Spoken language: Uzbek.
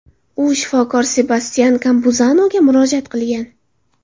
U shifokor Sebastyan Kampuzanoga murojaat qilgan.